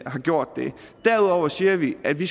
har gjort det og derudover siger vi at vi